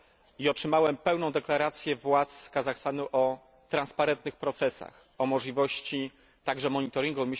I otrzymałem pełną deklarację władz Kazachstanu o transparentnych procesach, o możliwości także monitoringu.